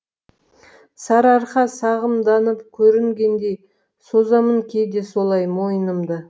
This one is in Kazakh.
сарыарқа сағымданып көрінгендей созамын кейде солай мойынымды